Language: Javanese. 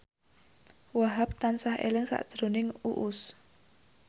Wahhab tansah eling sakjroning Uus